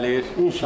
İnşallah.